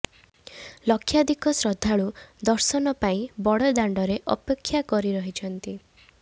ଲକ୍ଷାଧିକ ଶ୍ରଦ୍ଧାଳୁ ଦର୍ଶନ ପାଇଁ ବଡ଼ ଦାଣ୍ଡରେ ଅପେକ୍ଷା କରି ରହିଛନ୍ତି